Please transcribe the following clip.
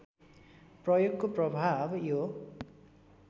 प्रयोगको प्रभाव यो